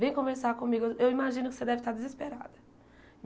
Vem conversar comigo, eu imagino que você deve estar desesperada.